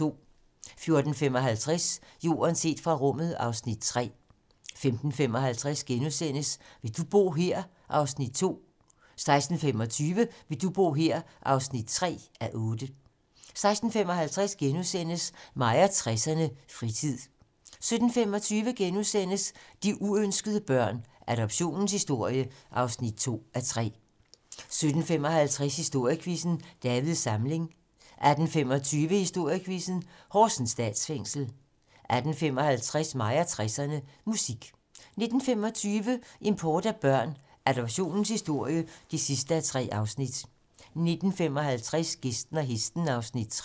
14:55: Jorden set fra rummet (Afs. 3) 15:55: Vil du bo her? (2:8)* 16:25: Vil du bo her? (3:8) 16:55: Mig og 60'erne: Fritid * 17:25: De uønskede børn - Adoptionens historie (2:3)* 17:55: Historiequizzen: Davids Samling 18:25: Historiequizzen: Horsens Statsfængsel 18:55: Mig og 60'erne: Musik 19:25: Import af børn - Adoptionens historie (3:3) 19:55: Gæsten og hesten (Afs. 3)